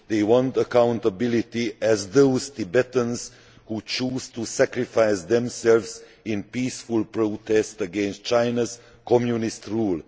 They want accountability, just as those Tibetans who choose to sacrifice themselves in peaceful protest against China's communist rule.